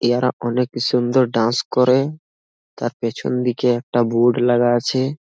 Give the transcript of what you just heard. ইয়ারা অনেক সুন্দর ডান্স করে তার পিছন দিকে একটা বোর্ড লাগা আছে।